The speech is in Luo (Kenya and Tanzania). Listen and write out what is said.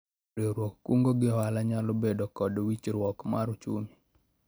Riwruog kungo gi hola nyalo bedo kod winjruok mar ochumi